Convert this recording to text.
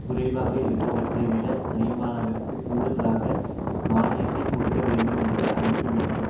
குறைவாக இருப்பவற்றை விட அதிகமானவற்றிற்கு கூடுதலான மானியத்தை கொடுக்க வேண்டும் என்றும் அழைப்பு விடுத்துள்